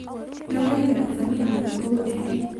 Logoekap sabibuk ko uu ne